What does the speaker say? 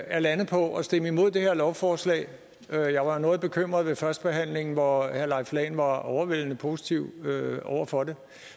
er landet på at stemme imod det her lovforslag jeg var noget bekymret ved førstebehandlingen hvor herre leif lahn jensen var overvældende positiv over for det